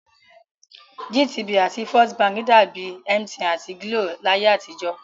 GTB àti First Bank dàbi MTN àti GLO láyé àtijọ́